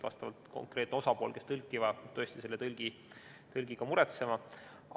Ja konkreetne osapool, kes tõlki vajab, peab tõesti tõlgi ka muretsema.